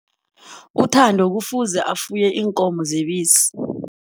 UThando kufuze afuye iinkomo zebisi.